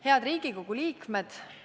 Head Riigikogu liikmed!